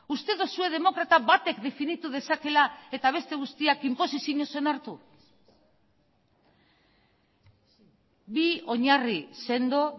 uste duzue demokrata batek definitu dezakela eta beste guztiak inposizioz onartu bi oinarri sendo